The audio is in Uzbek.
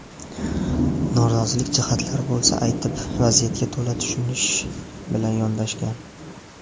Norozilik jihatlari bo‘lsa aytib, vaziyatga to‘la tushunish bilan yondashgan.